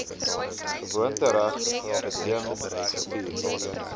gewoontereg beding gevier